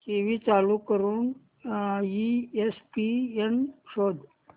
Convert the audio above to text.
TV चालू करून ESPN शोध